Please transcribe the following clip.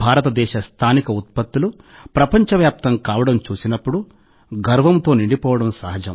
భారతదేశ స్థానిక ఉత్పత్తులు ప్రపంచవ్యాప్తం కావడం చూసినప్పుడు గర్వంతో నిండిపోవడం సహజం